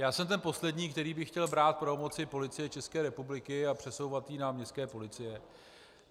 Já jsem ten poslední, který by chtěl brát pravomoci Policie České republiky a přesouvat je na městské policie.